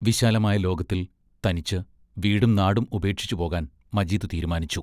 വിശാലമായ ലോകത്തിൽ തനിച്ച് വീടും നാടും ഉപേക്ഷിച്ചു പോകാൻ മജീദ് തീരുമാനിച്ചു.